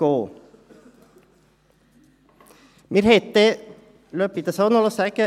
Lassen Sie mich dies auch noch sagen: